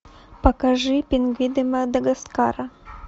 покажи пингвины мадагаскара